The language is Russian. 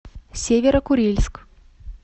северо курильск